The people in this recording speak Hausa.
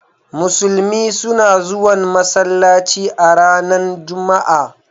Musulmi suna zuwan masallaci a ranan Juma'a.